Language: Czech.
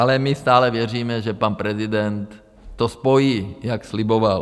Ale my stále věříme, že pan prezident to spojí, jak sliboval.